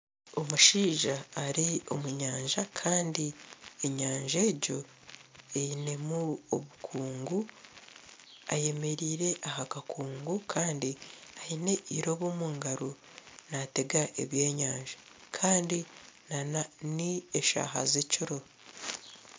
Omushaija ari omu nyanja kandi enyanja egyo erimu obukungu eyemereire aha kakungu kandi aine eirobo omu ngaro naatega eby'enyanja kandi n'eshaaha z'ekiro